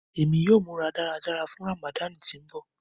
Emi yóò mura daradara fun Ramadani ti ńbọ.